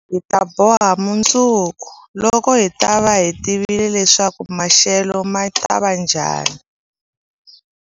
Hi ta boha mundzuku, loko hi ta va hi tivile leswaku maxelo ma ta va njhani.